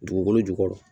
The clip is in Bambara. Dugukolo jukɔrɔ